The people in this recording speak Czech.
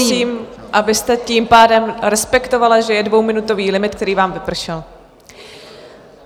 Prosím, abyste tím pádem respektovala, že je dvouminutový limit, který vám vypršel.